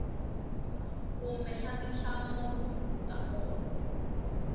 kumbe xa tinhlamulo to koma